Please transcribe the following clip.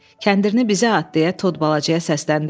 Kəndirini bizə at, deyə Tod balacaya səsləndi.